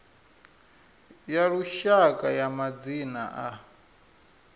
ya lushaka ya madzina a